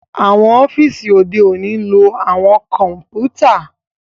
Awọn ọfiisi ode oni ń lo awọn kọǹpútà